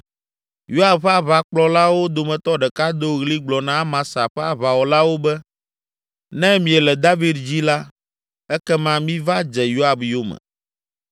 Yoab ƒe aʋakplɔlawo dometɔ ɖeka do ɣli gblɔ na Amasa ƒe aʋawɔlawo be, “Ne miele David dzi la, ekema miva dze Yoab yome.”